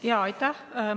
Jaa, aitäh!